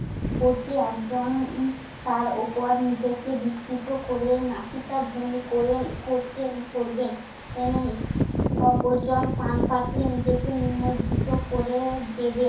করতে একজন উম তার উপর নিজেকে বিস্তৃত করে নাসিকা ধ্বনি করে~ করতে~ করবেন এমন। অপরজন পানপাত্রে নিজেকে নিমজ্জিৎ করে দেবেন।